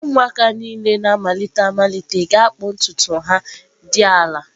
Ụmụaka niile na-amalite amalite ga-akpụ ntutu ha dị ala.